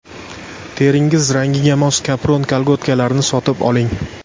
Teringiz rangiga mos kapron kolgotkalarni sotib oling.